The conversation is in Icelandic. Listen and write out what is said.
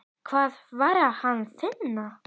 Hvar var Hann að finna?